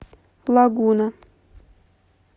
лагуна